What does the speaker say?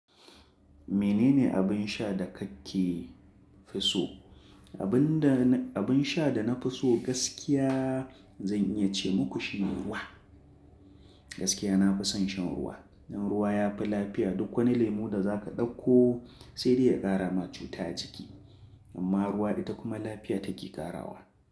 Minene abin sha da kake fi so? Abin da, abin sha da na fi so gaskiya zan iya ce muku shine ruwa. Gaskiya nafi son shan ruwa dan ruwa ya fi lafiya. Duk wani lemu da zaka ɗakko sai dai ya ƙara ma cuta a jiki. Amma ruwa ita kuma lafiya take ƙarawa.